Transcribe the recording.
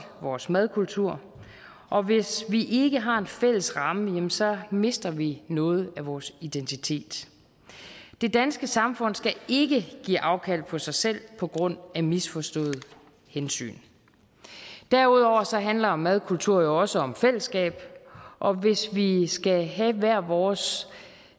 vores madkultur og hvis vi ikke har en fælles ramme jamen så mister vi noget af vores identitet det danske samfund skal ikke give afkald på sig selv på grund af misforståede hensyn derudover handler madkultur også om fællesskab og hvis vi skal have hver vores